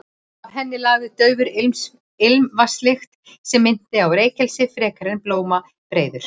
Af henni lagði daufa ilmvatnslykt sem minnti á reykelsi frekar en blómabreiður.